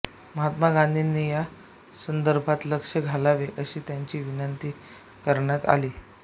महात्मा गांधींनी या संदर्भात लक्ष घालावे अशी त्यांना विनंती करण्यात आली